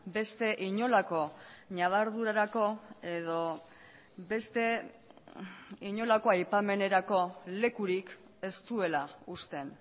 beste inolako ñabardurarako edo beste inolako aipamenerako lekurik ez duela uzten